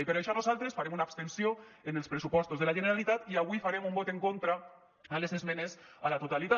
i per això nosaltres farem una abstenció en els pressupostos de la generalitat i avui farem un vot en contra a les esmenes a la totalitat